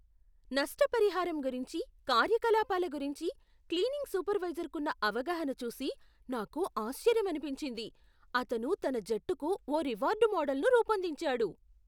నష్ట పరిహారం గురించి, కార్యకలాపాల గురించి క్లీనింగ్ సూపర్వైజర్కున్న అవగాహన చూసి నాకు ఆశ్చర్యమనిపించింది. అతను తన జట్టుకు ఓ రివార్డ్ మోడల్ను రూపొందించాడు.